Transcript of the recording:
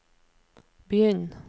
begynn